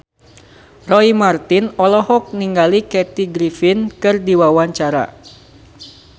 Roy Marten olohok ningali Kathy Griffin keur diwawancara